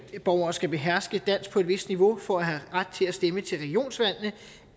borgere skal beherske dansk på et vist niveau for at have ret til at stemme til regionsvalg